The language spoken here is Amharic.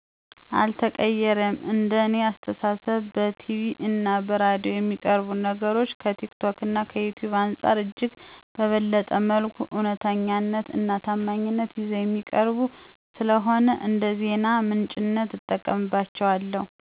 አልተቀይሬም። እንደ እኔ አስተሳሰብ በቲቪ እና በሬዲዮ የሚቀርቡ ነገሮች ከቲክቶክ እና ከዩቲዩብ አንፃር እጅግ በበለጠ መልኩ እውነተኛነት እና ታማኝነት ይዘው የሚቀርቡ ስለሆኑ እንደዜና ምንጭነት እጠቀምባቸዋለሁ።